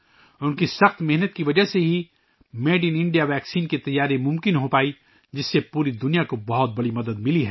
ان کی محنت کی وجہ سے میڈ ان انڈیا ویکسین تیار کرنا ممکن ہوا ، جس سے پوری دنیا کو کافی مدد ملی ہے